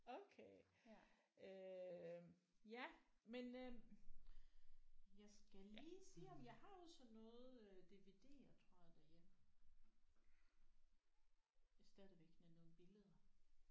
Okay øh ja men øh jeg skal lige se om jeg har også sådan noget øh DVD'er tror jeg derhjemme stadigvæk med nogle billeder